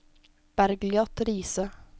Bergliot Riise